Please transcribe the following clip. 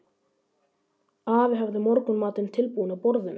Afi hafði morgunmatinn tilbúinn á borðinu.